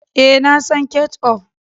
E, na son ketchup.